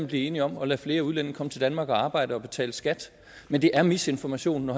blive enige om at lade flere udlændinge komme til danmark og arbejde og betale skat men det er misinformation når